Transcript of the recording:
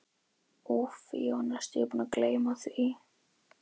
Úff, ég var næstum því búinn að gleyma því.